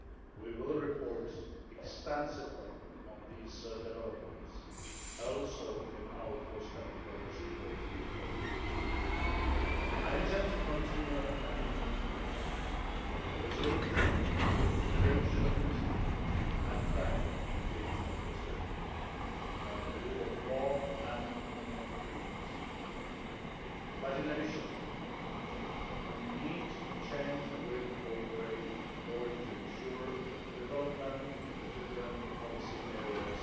We will report extensively on these developments also in our forthcoming Progress Report in October. I intend to continue and even deepen a resolute, patient and frank engagement with Turkey on the rule of law and fundamental freedoms. But in addition, we need to change the way we cooperate in order to ensure that development in the different policy areas